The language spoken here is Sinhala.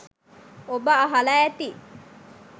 ඔබ අහල ඇති